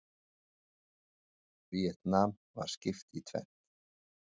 Víetnam var skipt í tvennt.